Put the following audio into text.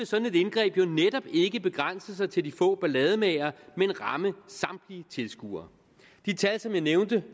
sådan indgreb netop ikke begrænse sig til de få ballademagere men ramme samtlige tilskuere de tal som jeg nævnte